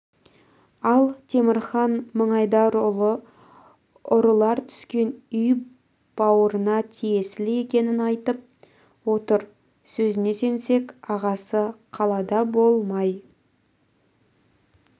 ал темірхан мыңайдарұлы ұрылар түскен үй бауырына тиесілі екенін айтып отыр сөзіне сенсек ағасы қалада болмай